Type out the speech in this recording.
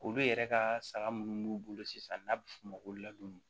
Olu yɛrɛ ka saga minnu b'u bolo sisan n'a bɛ f'o ma ko ladon